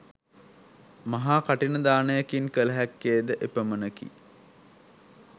මහා කඨින දානයකින් කළ හැක්කේ ද එපමණකි.